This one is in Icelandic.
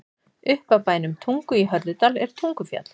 Upp af bænum Tungu í Hörðudal er Tungufjall.